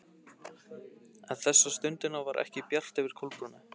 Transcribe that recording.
En þessa stundina var ekki bjart yfir Kolbrúnu.